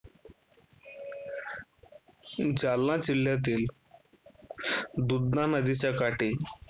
जालना जिल्ह्यातील दूधणा नदीच्या काठी